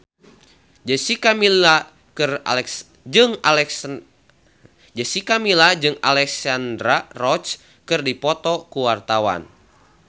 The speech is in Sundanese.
Jessica Milla jeung Alexandra Roach keur dipoto ku wartawan